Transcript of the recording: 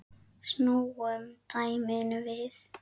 Snúum dæminu við.